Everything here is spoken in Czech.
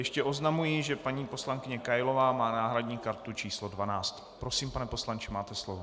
Ještě oznamuji, že paní poslankyně Kailová má náhradní kartu číslo 12. Prosím, pane poslanče, máte slovo.